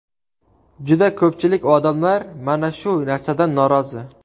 Juda ko‘pchilik odamlar mana shu narsadan norozi.